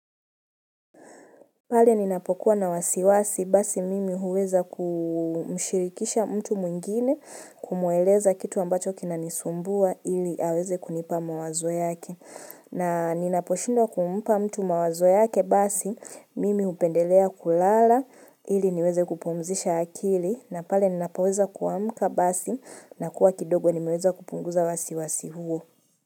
Pale ninapokuwa na wasiwasi basi mimi huweza kumshirikisha mtu mwingine kumweleza kitu ambacho kina nisumbua ili aweze kunipa mawazo yake. Na ninaposhindwa kumupa mtu mawazo yake basi mimi hupendelea kulala ili niweze kupumzisha akili na pale ninapoweza kuamuka basi na kuwa kidogo nimeweza kupunguza wasiwasi huo.